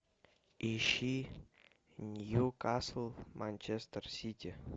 ищи ньюкасл манчестер сити